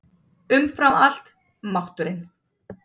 Umfram allt: mátturinn.